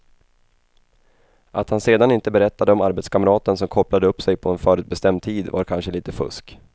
Att han sedan inte berättade om arbetskamraten som kopplade upp sig på en förutbestämd tid var kanske lite fusk.